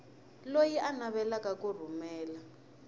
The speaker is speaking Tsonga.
loyi a navelaka ku rhumela